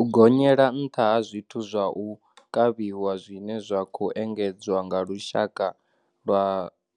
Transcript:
U gonyela nṱha ha zwiwo zwa u kavhiwa zwine zwa khou enge dzwa nga lushaka lwa